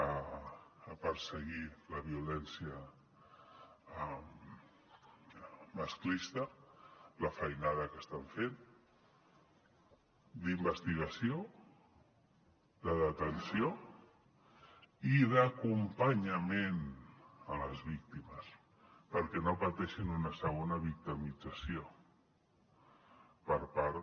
a perseguir la violència masclista la feinada que estan fent d’investigació de detenció i d’acompanyament a les víctimes perquè no pateixin una segona victimització per part